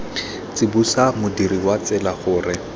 tsibosa modirisi wa tsela gore